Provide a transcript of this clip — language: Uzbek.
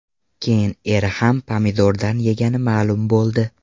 Keyin eri ham pomidordan yegani ma’lum bo‘ldi.